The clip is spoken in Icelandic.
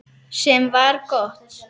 Sem var gott.